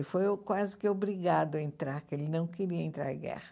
Ele foi quase que obrigado a entrar, porque ele não queria entrar em guerra.